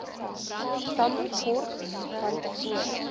tambo kort vantevore